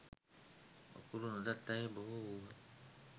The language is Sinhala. අකුරු නොදත් අය බොහෝ වූහ.